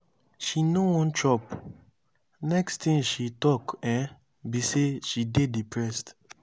she no wan chop. next thing she talk um be say she dey depressed.